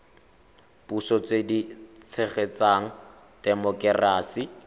puso tse di tshegetsang temokerasi